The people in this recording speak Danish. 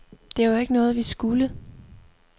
Det var jo ikke noget, vi skulle.